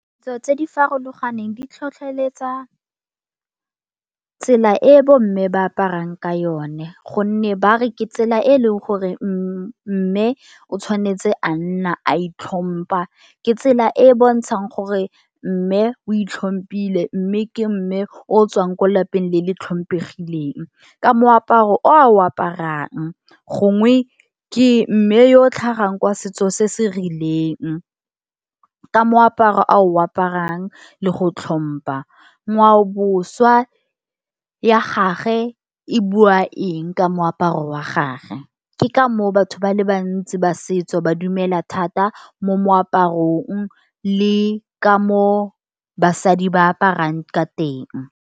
Ditso tse di farologaneng di tlhotlheletsa tsela e bomme ba aparang ka yone, gonne ba re ke tsela e e leng gore mme o tshwanetse a nna a itlhompha. Ke tsela e e bontshang gore mme o itlhompile mme, ke mme o tswang ko lapeng le le tlhompegileng, ka moaparo o a o aparang, gongwe ke mme yo o tlhagang kwa setso se se rileng, ka moaparo a o aparang le go tlhompha, ngwaoboswa ya gage e bua eng ka moaparo wa gage, ke ka moo batho ba le bantsi ba setso, ba dumela thata mo moaparong le ka mo basadi ba aparang ka teng.